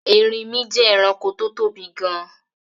Erinmí je eranko tó tóbi gan